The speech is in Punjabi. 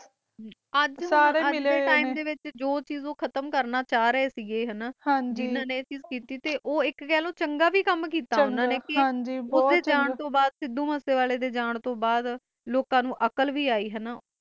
ਅਜੇ ਡੇ ਟੀਮ ਵਿਚ ਜੋ ਚਜ ਉਹ ਕਾਟਾ ਕਰਨਾ ਚ ਰਹੇ ਸੀ ਜਿਨ੍ਹਾਂ ਨੇ ਇਹ ਚੱਜ ਕੀਤੀ, ਸਿੱਧੂ ਮੁਸਏ ਵਾਲੇ ਡੇ ਜਾਨ ਤੋਂ ਬਾਦ ਲੋਕ ਨੂੰ ਵੀ ਅਕਾਲ ਅਜੀ